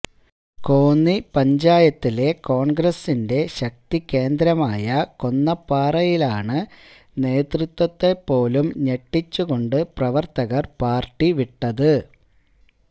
കോന്നി പഞ്ചായത്തിലെ കോൺഗ്രസിന്റെ ശക്തി കേന്ദ്രമായ കൊന്നപ്പാറയിലാണ് നേതൃത്വത്തെ പോലും ഞെട്ടിച്ചുകൊണ്ട് പ്രവർത്തകർ പാർട്ടി വിട്ടത്